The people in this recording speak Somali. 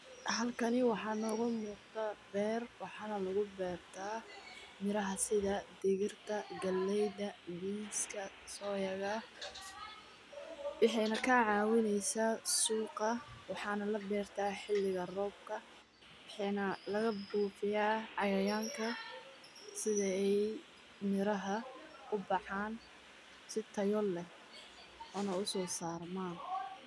Xalkani waxaanu ugu muqda beerta. Waxaana lagu beerta miraha sida: dhigirta, galleyda, beans ka, soya ga. waxaan ka caawinaysa suuqa. Waxaa la beerta xilliga roobka. Bixin laga buufiyaa cayayaanka sida ay miraha u baxaan. Sitoo yool leh una soo saar maan.